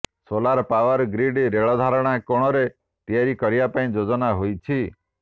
solar power grid ରେଳ ଧାରଣା କୋଣରେ ତିଆରି କରିବା ପାଇଁ ଯୋଜନା ହୋଇଛି